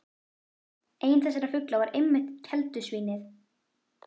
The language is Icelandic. Einn þessara fugla var einmitt keldusvín- ið.